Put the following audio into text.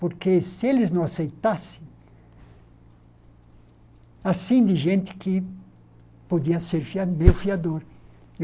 Porque se eles não aceitassem... Assim gente que podia ser fi meu fiador.